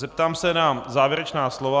Zeptám se na závěrečná slova.